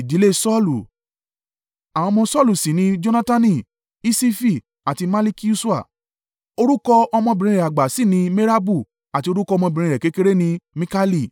Àwọn ọmọ Saulu sì ni Jonatani, Iṣifi àti Malikiṣua. Orúkọ ọmọbìnrin rẹ̀ àgbà sì ni Merabu àti orúkọ ọmọbìnrin rẹ̀ kékeré ni Mikali.